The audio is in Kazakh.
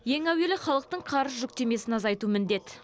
ең әуелі халықтың қарыз жүктемесін азайту міндет